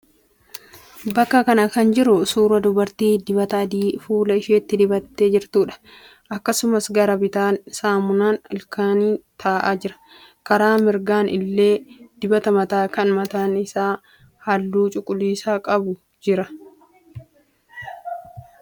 Bakka kana kan jiru suuraa dubartii dibata adii fuula isheetti dibattee jirtuuti. Akkasumas gara bitaan saamunaan ilkaanii ta'aa jira. Karaa mirgaan illee dibati mataa kan mataan isaa halluu cuquliisa qabu jira.